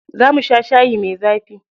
Za mu sha shayi mai zafi.